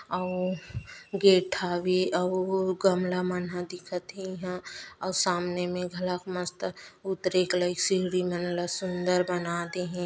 अउ गेट हावे अउ गमला मन ह दिखत हे इहाँ आउर सामने में घलोक मस्त उतरेके लाइक सीढ़ी मन ह सुंदर बना दे हे ।